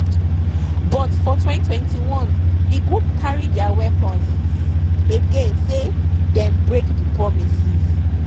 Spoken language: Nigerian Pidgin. but for 2021 di group carry dia weapons again say dem break di promises.